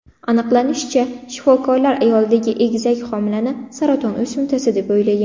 Aniqlanishicha, shifokorlar ayoldagi egizak homilani saraton o‘simtasi deb o‘ylagan.